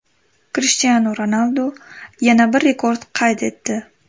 Krishtianu Ronaldu yana bir rekord qayd etdi.